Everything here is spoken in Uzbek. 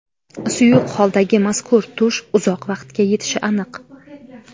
Suyuq holdagi mazkur tush uzoq vaqtga yetishi aniq.